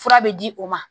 Fura bɛ di o ma